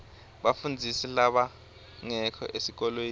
bafundzisi labangekho esikolweni